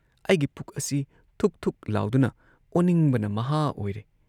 ꯑꯩꯒꯤ ꯄꯨꯛ ꯑꯁꯤ ꯊꯨꯛ ꯊꯨꯛ ꯂꯥꯎꯗꯨꯅ ꯑꯣꯅꯤꯡꯕꯅ ꯃꯍꯥ ꯑꯣꯏꯔꯦ ꯫